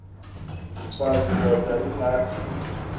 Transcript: mfaz indod ingaty